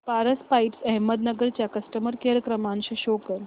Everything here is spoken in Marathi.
पारस पाइप्स अहमदनगर चा कस्टमर केअर क्रमांक शो करा